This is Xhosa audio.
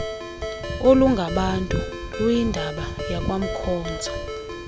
olungabantu luyindaba yakwamkhozo